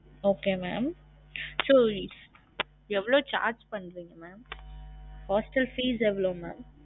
Okay mam எவ்ளோ charge பன்றிங்க mam? hostel fees எவ்ளோ? mam